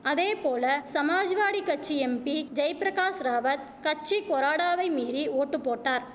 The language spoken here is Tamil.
அதேபோல சமாஜ்வாடி கட்சி எம்பி ஜெய்பிரகாஷ் ராவத் கட்சி கொறாடாவை மீறி ஓட்டு போட்டார்